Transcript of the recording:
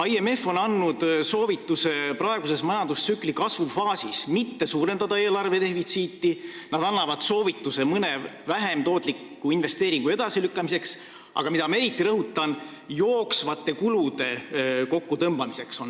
IMF on andnud soovituse praeguses majandustsükli kasvufaasis mitte suurendada eelarve defitsiiti, nad annavad soovituse mõni vähem tootlik investeering edasi lükata, aga ma eriti rõhutan, et neil on antud soovitus jooksvate kulude kokkutõmbamiseks.